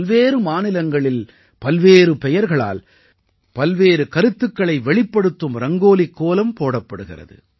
பல்வேறு மாநிலங்களில் பல்வேறு பெயர்களால் பல்வேறு கருத்துக்களை வெளிப்படுத்தும் ரங்கோலிக் கோலம் போடப்படுகிறது